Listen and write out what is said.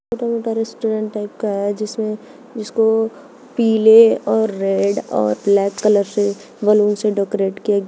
छोटा मोटा restaurant type का है जिसमें जिसको पीले और रेड और ब्लैक कलर से बैलून से डेकोरेट किया गया--